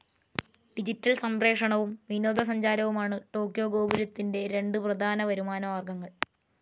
Digital സംപ്രേക്ഷണവും, വിനോദസഞ്ചാരവുമാണ് Tokyo ഗോപുരത്തിൻ്റെ രണ്ട പ്രധാന വരുമാന മാർഗങ്ങൾ.